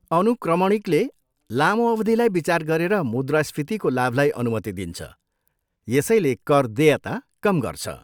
अनुक्रमणिकले लामो अवधिलाई विचार गरेर मुद्रास्फीतिको लाभलाई अनुमति दिन्छ, यसैले कर देयता कम गर्छ।